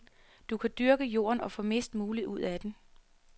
Du kan dyrke jorden og få mest muligt ud af den.